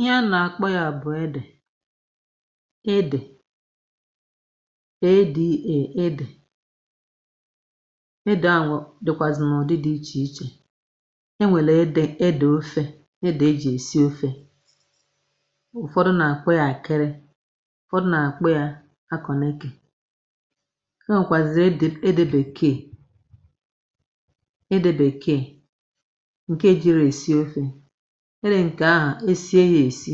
Ihe a nà-àkpọ ya bụ̀ edè edè e d e ede, edè ahụ̀ dị̀kwàzị̀ n’ụ̀dị dị̀ ichè ichè. E nwèlè edè edè ofė, edè e jì èsi ofė. Ụfọdụ nà-àkpọ ya àkịrị, ụ̀fọdụ nà-àkpọ ya akọ̀nẹ̀ke. E nwekazirị edè ede bèkeè nke ejirọ esi ofe. Ede nke ȧhụ è sie ya èsi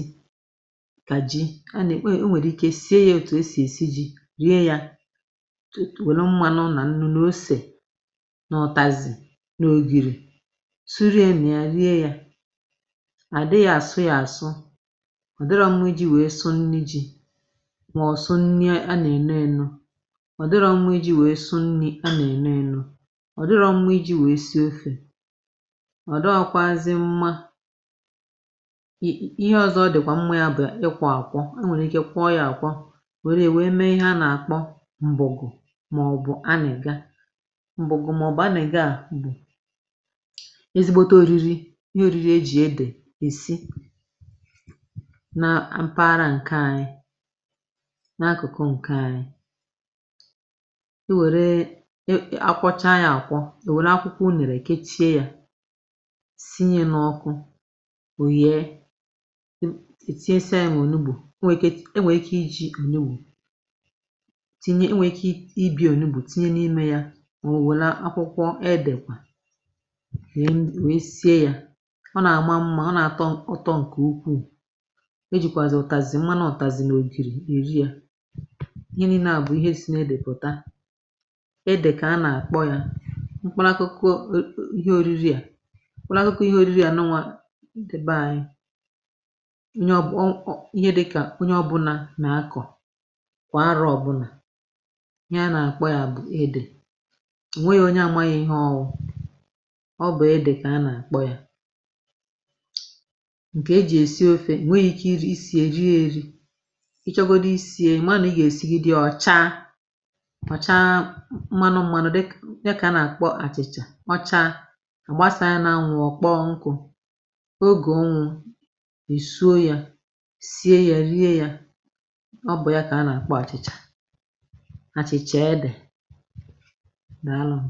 kà ji a ne e nwèrè ike sie yȧ òtù esì èsi ji̇ rie yȧ tutu wèlụ mmanụ nà nà osè nà ụtazị nà ogìrì suriye nà ya rie yȧ. Adịrọ àsụ ya àsụ, ọ̀ dịrọ mma iji̇ wèe sụ nni ji̇ mọ̀ sụ nni a nà-èno eno. Ọ dị̀rọ mma iji̇ wèe sụ nni̇ a nà-èno eno, ọ̀ dị̀rọ mma iji̇ wèe si ofè, ọ dịọkwazi mma um Ihe ọ̀zọ̀ dị̀kwà mmȧ ya bụ̀ ịkwọ àkwọ, i nwèrè ike kwọọ ya àkwọ nwèrè mee ihe a na-àkpọ m̀bụ̀gụ màọbụ̀ anịga. Mbụ̀gụ màọbụ̀ anịga bụ̀ ezigbote òriri ihe òriri ejì edè èsi na apaghara ǹke anyị na-akụ̀kụ ǹke anyị. I wèrèe a kwọchaa ya àkwọ, e wèrè akwụkwọ ụnẹ̀rẹ̀ kechie ya n'ọkụ, o yèe. [i e ] e tinyesịa ya n’ònugbù o nwee ike e nwee ike iji ònugbù tinye o nwee ike ibi ònugbù, tinye n’ime ya or wèle akwụkwọ edèkwà we we sie ya. Ọ nà àma mmȧ, ọ nà àtọ ụtọ ǹkè ukwuù. E jìkwàzì ụtàzì mmanụ ụtàzì n’ògìrì è ri ya. Ihe niinė à bụ̀ ihe si na edè pụ̀ta edè kà a nà àkpọ ya mkpụlakụkọ [ọọ] ihe oriri à mkpụrụakụkụ ihe oriri a nụnwa nde be ȧnyị̇ [ọ o]onye ọbụ̀ onye dị̇kà onye ọbụ̇nȧ nà-akọ̀ kwà arọ̇ ọ̀bụnà. Ihe a nà-àkpọ yȧ bụ̀ edè. O nweghi̇ onye amaghị̇ ihe ọ̇ wụ̇, ọ bụ̀ edè kà a nà-àkpọ yȧ. Nkè e jì èsi ofė i nweghi̇ ike i si rie èri. Ị chọgodi isi ye ị ma nà ị gà-èsigide ye ọ̀ chaa ọ̀ cha mmanụ mmanụ dịk ihe dịkà a nà-àkpọ àchị̀chà ọcha a gbasàa ya nȧ-anwụ̇ ọ̀ kpọọ nkụ̇ oge ụnwụ e sie ya rie ya. Ọ bụ̀ ya kà a nà-àkpọ àchị̀chà a chị̀chàa edè daalụnụ.